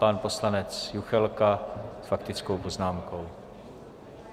Pan poslanec Juchelka s faktickou poznámkou.